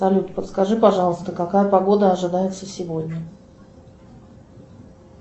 салют подскажи пожалуйста какая погода ожидается сегодня